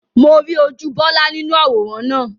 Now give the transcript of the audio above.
Mo rí ojú Bọlá nínú àwòrán náà